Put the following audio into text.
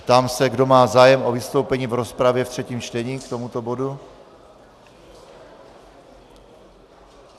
Ptám se, kdo má zájem o vystoupení v rozpravě v třetím čtení k tomuto bodu.